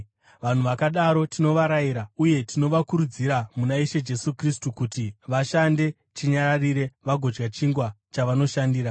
Vanhu vakadaro tinovarayira uye tinovakurudzira muna Ishe Jesu Kristu kuti vashande chinyararire vagodya chingwa chavanoshandira.